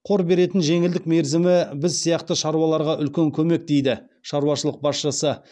қор беретін жеңілдік мерзімі біз сияқты шаруаларға үлкен көмек дейді шаруашылық басшысы